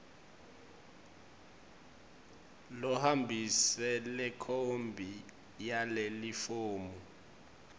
lohambise lekhophi yalelifomu